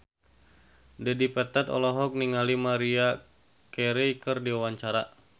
Dedi Petet olohok ningali Maria Carey keur diwawancara